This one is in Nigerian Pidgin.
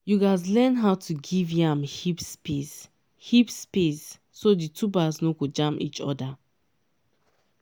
you gatz learn how to give yam heaps space heaps space so the tubers no go jam each other.